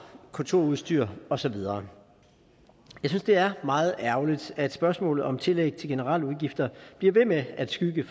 kontorudstyr og så videre jeg synes det er meget ærgerligt at spørgsmålet om tillæg til generelle udgifter bliver ved med at skygge